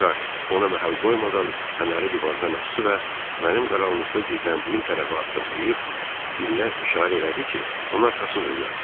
Pakhart ona məhəl qoymadan fənəri divardan asdı və mənim qaranlıqda gizləndiyim tərəfə addımlayıb, Billə işarə elədi ki, onun arxasınca gəlsin.